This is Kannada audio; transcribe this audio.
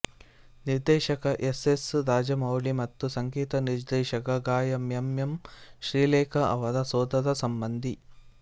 ನಿರ್ದೇಶಕ ಎಸ್ಎಸ್ ರಾಜಮೌಳಿ ಮತ್ತು ಸಂಗೀತ ನಿರ್ದೇಶಕ ಗಾಯಕ ಎಂ ಎಂ ಶ್ರೀಲೇಖ ಅವರ ಸೋದರಸಂಬಂಧಿ